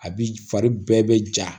A bi fari bɛɛ bɛ ja